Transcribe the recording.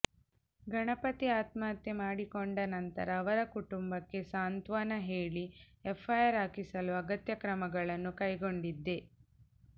ಗಣಪತಿ ಆತ್ಮಹತ್ಯೆ ಮಾಡಿಕೊಂಡ ನಂತರ ಅವರ ಕುಟುಂಬಕ್ಕೆ ಸಾಂತ್ವನ ಹೇಳಿ ಎಫ್ಐಆರ್ ಹಾಕಿಸಲು ಅಗತ್ಯ ಕ್ರಮಗಳನ್ನು ಕೈಗೊಂಡಿದ್ದೆ